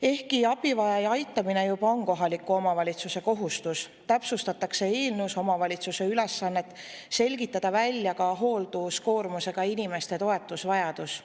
Ehkki abivajaja aitamine on juba kohaliku omavalitsuse kohustus, täpsustatakse eelnõus omavalitsuse ülesannet selgitada välja ka hoolduskoormusega inimeste toetusvajadus.